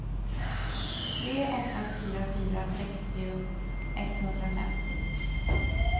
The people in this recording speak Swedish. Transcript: tre åtta fyra fyra sextio etthundrafemtio